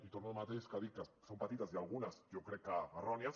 i torno al mateix que ja dic que són petites i algunes jo crec que errònies